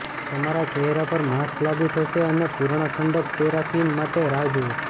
તમારા ચહેરા પર માસ્ક લાગુ થશે અને પૂર્ણ ઠંડક પેરાફિન માટે રાહ જુઓ